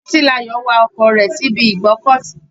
Titilayo wa ọkọ̀ rẹ̀ síbi ìgbọ́kọ̀sí.